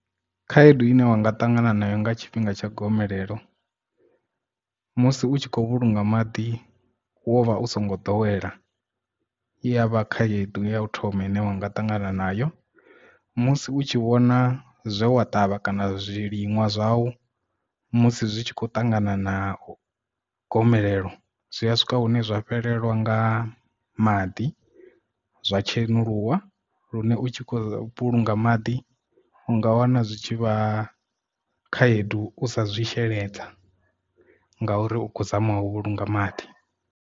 Khaedu ine wa nga ṱangana nayo nga tshifhinga tsha gomelelo musi u tshi khou vhulunga maḓi wo vha u songo ḓowela iya vha khaedu ya u thoma ine wa nga ṱangana nayo musi u tshi vhona zwe wa ṱavha kana zwiliṅwa zwau musi zwi tshi khou ṱangana na gomelelo zwi a swika hune zwa fhelelwa nga maḓi zwa tshenguluso lune u tshi khou vhulunga maḓi u nga wana zwitshi vha khaedu u sa zwi sheledza nga uri u khou zama u vhulunga maḓi.